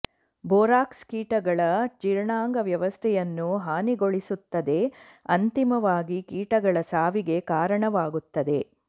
borax ಕೀಟಗಳ ಜೀರ್ಣಾಂಗ ವ್ಯವಸ್ಥೆಯನ್ನು ಹಾನಿಗೊಳಿಸುತ್ತದೆ ಅಂತಿಮವಾಗಿ ಕೀಟಗಳ ಸಾವಿಗೆ ಕಾರಣವಾಗುತ್ತದೆ